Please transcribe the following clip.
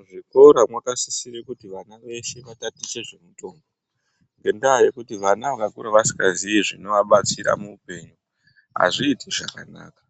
Muzvikora mwakasisire kuti vana vese vatatiche zvemutombo, ngendaa yekuti vana vakakura vasingaziyi zvinovabatsira muupenyu hazviiti zvakanaka.